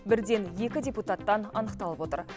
бірден екі депутаттан анықталып отыр